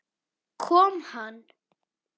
Kom hann?